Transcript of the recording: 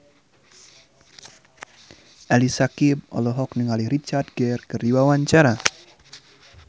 Ali Syakieb olohok ningali Richard Gere keur diwawancara